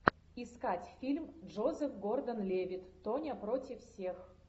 искать фильм джозеф гордон левитт тоня против всех